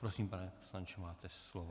Prosím, pane poslanče, máte slovo.